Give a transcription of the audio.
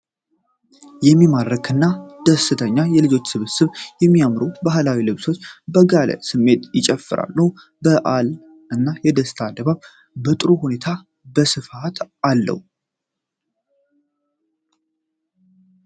የሚማርክ እና ደስተኛ የልጆች ስብስብ! በሚያምሩ ባህላዊ ልብሶች በጋለ ስሜት ይጨፍራሉ። የበዓል እና የደስታ ድባብ በጥሩ ሁኔታ በስፋት አለው ።